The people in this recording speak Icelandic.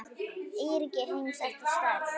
Eyríki heims eftir stærð